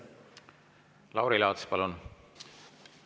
Lauri Laats, palun!